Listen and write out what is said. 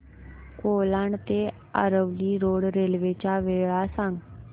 कोलाड ते Aravali road railway च्या वेळा सांग